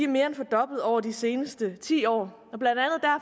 mere end fordoblet over de seneste ti år